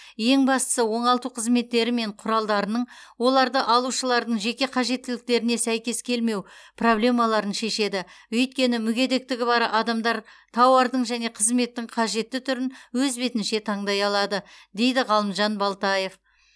ең бастысы оңалту қызметтері мен құралдарының оларды алушылардың жеке қажеттіліктеріне сәйкес келмеу проблемаларын шешеді өйткені мүгедектігі бар адамдар тауардың және қызметтің қажетті түрін өз бетінше таңдай алады дейді ғалымжан балтаев